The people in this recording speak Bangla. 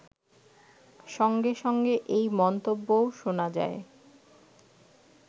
সঙ্গে সঙ্গে এই মন্তব্যও শোনা যায়